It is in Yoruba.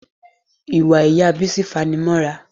Ìwà ìyá Bísí fanimọ́ra